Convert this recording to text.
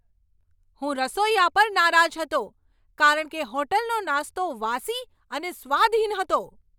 હું રસોઈયા પર નારાજ હતો કારણ કે હોટલનો નાસ્તો વાસી અને સ્વાદહીન હતો.